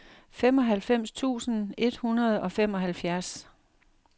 femoghalvfems tusind et hundrede og femoghalvfjerds